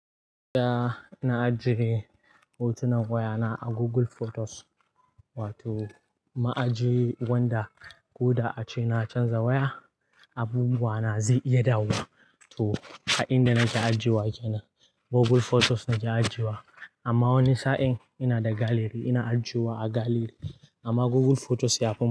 Da na ajiye hotunan wayana a Google Photos, wato ma ajiye wanda guda ace na canza waya, abubuwa na zai iya dawowa. To a inda nake ajiyewa kenan, Google Photos nake ajiyewa amma wani sa'in ina da gallery. Ina ajiyewa a gallery amma Google Photos yafi mun.